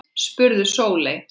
spurði Sóley.